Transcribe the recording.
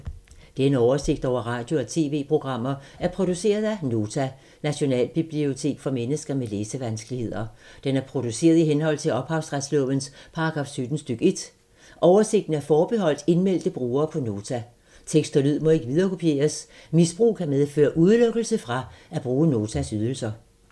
Denne oversigt over radio og TV-programmer er produceret af Nota, Nationalbibliotek for mennesker med læsevanskeligheder. Den er produceret i henhold til ophavsretslovens paragraf 17 stk. 1. Oversigten er forbeholdt indmeldte brugere på Nota. Tekst og lyd må ikke viderekopieres. Misbrug kan medføre udelukkelse fra at bruge Notas ydelser.